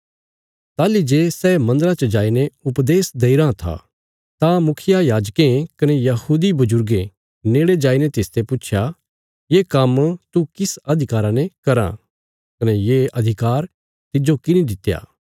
ताहली जे सै मन्दरा च जाईने उपदेश देईराँ था तां मुखियायाजकें कने यहूदी बजुर्गें नेड़े जाईने तिसते पुच्छया ये काम्म तू किस अधिकारा ने कराँ कने ये अधिकार तिज्जो किने दित्या